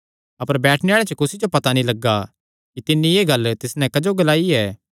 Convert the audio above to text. अपर बैठणे आल़ेआं च कुसी जो पता नीं लग्गा कि तिन्नी एह़ गल्ल तिस नैं क्जो ग्लाई ऐ